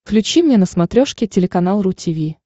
включи мне на смотрешке телеканал ру ти ви